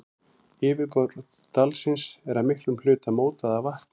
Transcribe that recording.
Yfirborð dalsins er að miklum hluta mótað af vatni.